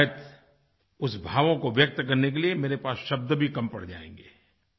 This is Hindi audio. शायद उस भावों को व्यक्त करने के लिए मेरे पास शब्द भी कम पड़ जाएँगे